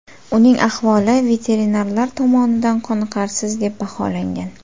Uning ahvoli veterinarlar tomonidan qoniqarsiz deb baholangan.